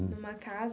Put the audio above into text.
Numa casa?